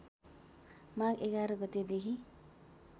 माघ ११ गतेदेखि